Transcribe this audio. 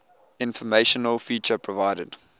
informational feature provided